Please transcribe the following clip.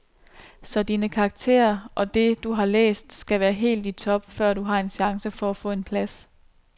Så dine karakterer og det, du har læst, skal være helt i top, før du har en chance for at få en plads.